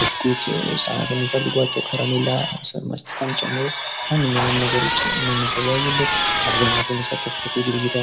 ብስኩት ህጻናት የሚፈልጓቸው ከረሚላ፣ ካስቲካን ጨምሮ ማንኛውንም ነገሮች የምንገበያይበት አብዛኛው ሰው የሚሳተፉበት የግብይት አ...